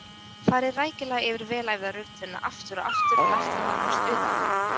Farið rækilega yfir vel æfða rulluna aftur og aftur og lært hana nánast utanbókar.